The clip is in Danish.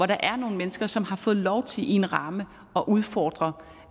der er nogle mennesker som har fået lov til i en ramme at udfordre